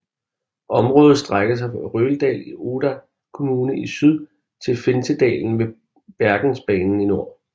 Området strækker sig fra Røldal i Odda kommune i syd til Finsedalen ved Bergensbanen i nord